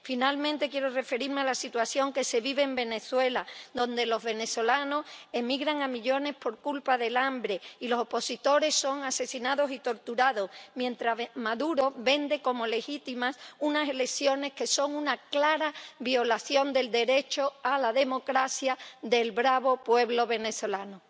Finalmente, quiero referirme a la situación que se vive en Venezuela, donde los venezolanos emigran a millones por culpa del hambre y los opositores son asesinados y torturados, mientras Maduro vende como legítimas unas elecciones que son una clara violación del derecho a la democracia del bravo pueblo venezolano.